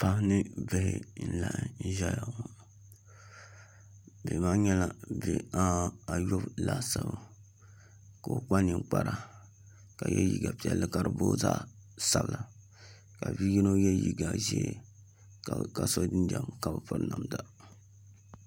Paɣa ni bihi n laɣam ʒɛya ŋɔ bihi maa nyɛla bihi ayɔbu laasabu ka i kpa ninkpara ka yɛ liiga piɛlli ka dibooi zaɣ sabila ka bia yino yɛ liiga ʒiɛ ka so jinjɛm ka bi piri namda